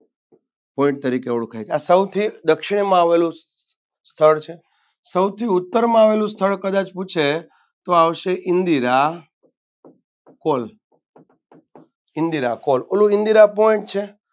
Point તરીકે ઓળખાય છે આ સૌથી દક્ષિણમાં આવેલું સ્થળ છે સૌથી ઉત્તરમાં આવેલું સ્થળ પણ કદાચ પૂછે તો આવશે ઇન્દિર call ઇન્દિરા call ઓલુ ઇન્દિરા point છે.